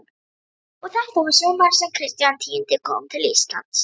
Og þetta var sumarið sem Kristján tíundi kom til Íslands.